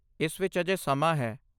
ਇਸ ਵਿੱਚ ਅਜੇ ਸਮਾਂ ਹੈ।